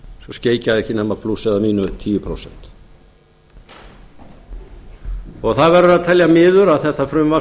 skeikaði ekki nema plús eða mínus um tíu prósent það verður að teljast miður að þetta frumvarp